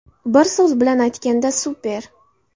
Bir so‘z bilan aytganda super.